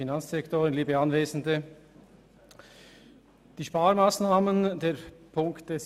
Die Sparmassnahmen der Punkte 47.5.1.